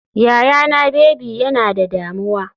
Yayana baby yana da damuwa.